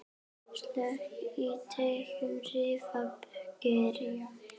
Slök í teignum hrífan kyrjar.